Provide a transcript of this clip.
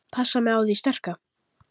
Passa mig á því sterka.